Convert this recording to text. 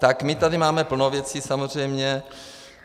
Tak my tady máme plno věcí, samozřejmě.